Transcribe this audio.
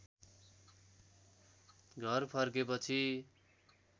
घर फर्केपछि